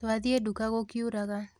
Twathiĩ nduka gũkiuraga